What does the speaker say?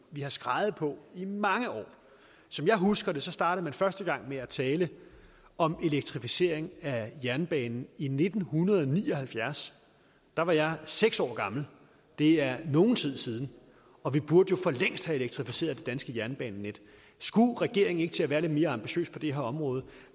vi har skreget på i mange år som jeg husker det startede man første gang med at tale om elektrificering af jernbanen i nitten ni og halvfjerds da var jeg seks år gammel det er nogen tid siden og vi burde jo for længst have elektrificeret det danske jernbanenet skulle regeringen ikke til at være lidt mere ambitiøs på det her område